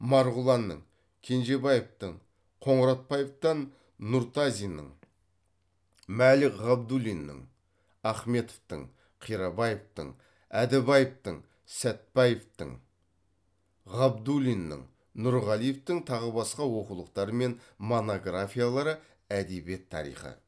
марғұланның кенжебаевтің қоңыратбаевтан нұртазиннің мәлік ғабдуллиннің ахметовтің қирабаевтың әдібаевтің сәтбаеваның ғабдуллиннің нұрғалиевтің тағы басқа оқулықтары мен монографиялары әдебиет тарихы